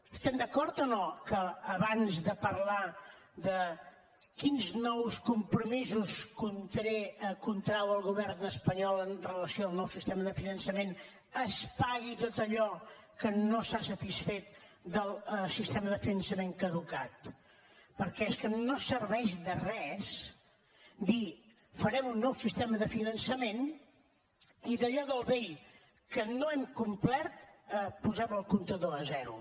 estem d’acord o no que abans de parlar de quins nous compromisos contrau el govern espanyol amb relació al nou sistema de finançament es pagui tot allò que no s’ha satisfet del sistema de finançament caducat perquè és que no serveix de res dir farem un nou sistema de finançament i d’allò del vell que no hem complert posem el comptador a zero